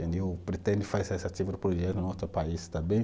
Eu pretendo fazer esse tipo de projeto em outro país também.